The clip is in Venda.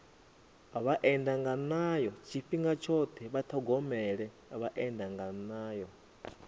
vhaendanganayo tshifhinga tshoṱhe vha ṱhogomele vhaendanganayo